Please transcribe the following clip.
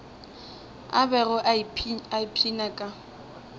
a bego a ipshina ka